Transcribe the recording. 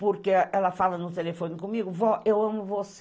Porque ela fala no telefone comigo, vó, eu amo você.